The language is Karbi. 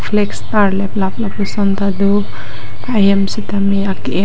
flags tarleplap lapuson ta do ahem sitame ake et.